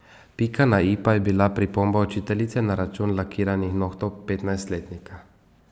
Pika na i pa je bila pripomba učiteljice na račun lakiranih nohtov petnajstletnika.